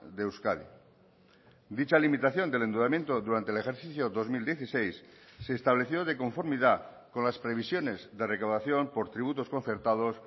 de euskadi dicha limitación del endeudamiento durante el ejercicio dos mil dieciséis se estableció de conformidad con las previsiones de recaudación por tributos concertados